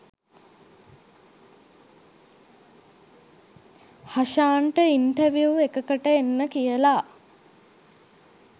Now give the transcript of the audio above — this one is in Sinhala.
හෂාන්ට ඉන්ටර්විව් එකකට එන්න කියලා